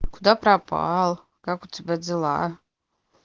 куда пропал как у тебя дела